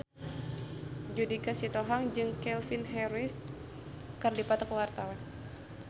Judika Sitohang jeung Calvin Harris keur dipoto ku wartawan